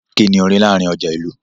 Ki ni o ri láàrin ọja ìlú?